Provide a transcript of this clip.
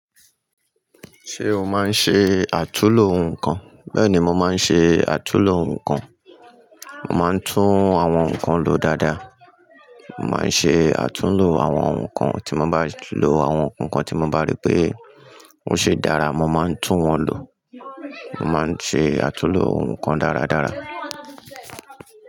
Ṣé o máa ń ṣe àtúlo nǹkan? Bẹ́ẹ̀ni, mo máa ń ṣe àtúlo nǹkan. Mo máa ń tún àwọn nǹkan lo dáadáa, màá ń ṣe àtúlo àwọn nǹkan tí mo bá lo àwọn nǹkan tí mo bá rí pé ó ṣi dára, mo máa ń tún wọn lo. Mo máa ń ṣe àtúlo nǹkan dáradára.